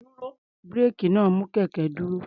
Búréèkì náà mú kí kẹ̀kẹ́ dúró.